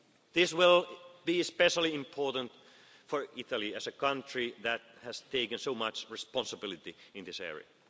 beyond. This will be especially important for Italy as a country, as it has taken so much responsibility in this